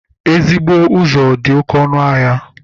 Ezigbo ụzọ dị oké ọnụ ahịa